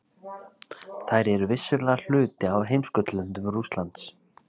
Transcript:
Þær eru vissulega hluti af heimskautalöndum Rússlands.